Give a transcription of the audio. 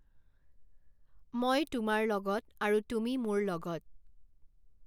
মই তোমাৰ লগত আৰু তুমি মোৰ লগত৷